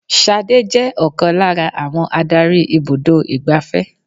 Ṣadé je ọ̀kan lára àwọn Ádárì ibùdó igbàfẹ́.